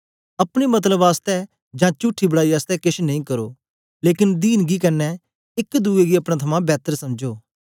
अपने मतलब आसतै जां चुठी बड़ाई आसतै केछ नेई करो लेकन दीनगी कन्ने एक दुए गी अपने थमां बैतर समझो